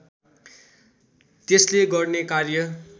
त्यसले गर्ने कार्य